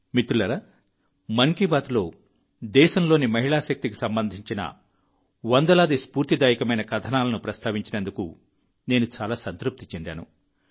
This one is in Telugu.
మిత్రులారా మన్ కీ బాత్లో దేశంలోని మహిళా శక్తికి సంబంధించిన వందలాది స్పూర్తిదాయకమైన కథనాలను ప్రస్తావించినందుకు నేను చాలా సంతృప్తి చెందాను